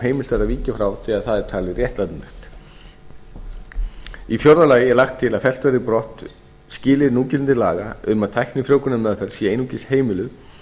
er að víkja frá þegar það er talið réttlætanlegt í fjórða lagi er lagt til að fellt verði brott skilyrði núgildandi laga um að tæknifrjóvgunarmeðferð sé einungis heimiluð